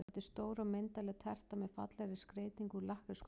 Þetta er stór og myndarleg terta með fallegri skreytingu úr lakkrískonfekti.